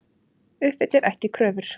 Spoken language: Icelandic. Uppfyllir ekki kröfur